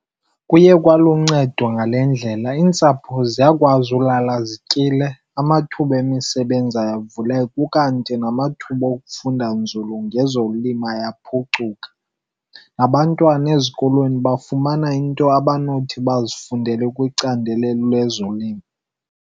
Kuye kwaluncedo ngale ndlela, iintsapho ziyakwazi ulala zityile, amathuba emisebenzi avulayo ukanti namathuba okufunda nzulu ngezolimo yaphucuka. Nabantwana ezikolweni bafumana into abanothi bazifundele kwicandelo lezolimo.